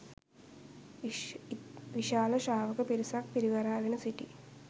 විශාල ශ්‍රාවක පිරිසක් පිරිවරාගෙන සිටි